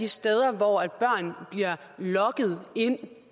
steder hvor børn bliver lokket ind